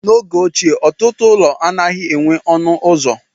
N'oge ochie, ọtụtụ ụlọ anaghị enweghị ọnụ ụzọ.